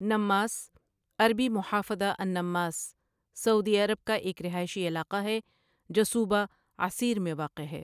Namas عربی محافظة النماص سعودی عرب کا ایک رہائشی علاقہ ہے جو صوبہ عسیر میں واقع ہے۔